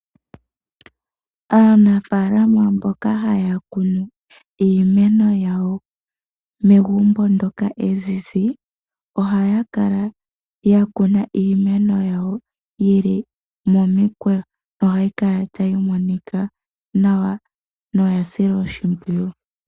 Aanafaalama mboka haya kunu iimeno yawo megumbo ndyoka ezizi. Ohaya kala yakuna iimeno yawo yili momikweyo nohayi kala tayi monika nawa noya silwa oshimpwiyu.